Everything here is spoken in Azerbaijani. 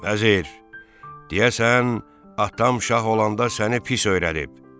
Vəzir, deyəsən atam şah olanda səni pis öyrədib.